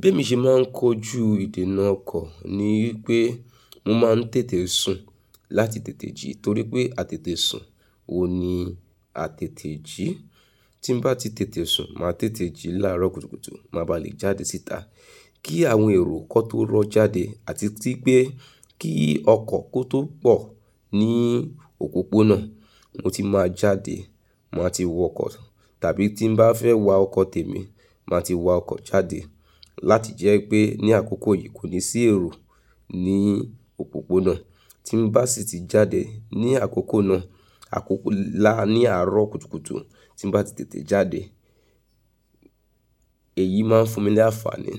Bí emi ṣe máa ń kojú ìdènà ọkọ̀ ni wípé mo máa ń tètè sùn láti tètè jí torí pé a tètè sùn, òní a tètè jí. Tí mo bá ti tètè sùn, màá tètè jí láàárọ́ kùtùkùtù, mo má ba à le jáde síta. Kí àwọn èrò kan tó rọ́ jáde àti tí pé kí ọkọ̀ kó tó pọ̀ ní òpópónà, mo ti máa jáde, màá ti wọ ọkọ̀. Tàbí tí mo bá fẹ́ wa ọkọ̀ tèmi, màá ti wa ọkọ̀ jáde. Láti jẹ́ pé ní àkókò yìí kò ní sí èrò ní òpópónà. Tí mo bá sì ti jáde ní àkókò náà, àkókò láàárọ̀ kùtùkùtù, tí mo bá ti tètè jáde, èyí máa fún mi ní àǹfààní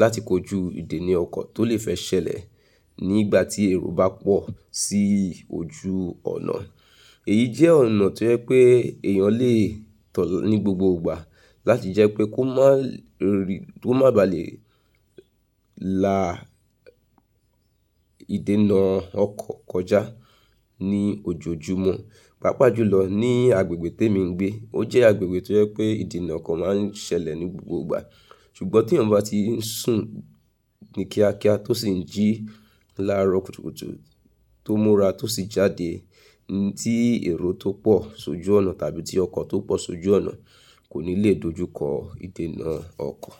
láti kojú ìdènà ọkọ̀ tó lè fẹ́ ṣẹlẹ̀ nígbà tí èrò bá pọ̀ sí ojú ònà. Èyí jẹ́ ọ̀nà tó jẹ́ pé èèyàn lè tọ̀lọ́ ní gbogbo ìgbà láti jẹ́ pé kó má ba à le la ìdènà ọkọ̀ kọjá ní ojoojúmọ́. Pápá jù lọ ní agbègbè tí èmi ń gbé, ó jẹ́ agbègbè tó jẹ́ pé ìdènà ọkọ̀ máa ń ṣẹlẹ̀ ní gbogbo ìgbà. Ṣùgbọ́n tí èèyàn bá ti ń sùn ní kíákíá tó sì ń jí láàárọ̀ kùtùkùtù tó múra tó sì jáde ní tí èrò tó pọ̀ sójú ònà tàbí tí ọkọ̀ tó pọ̀ sójú ònà, kò ní le dojú kọ ìdènà ọkọ̀.